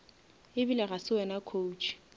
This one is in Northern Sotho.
ebile ga se wena coach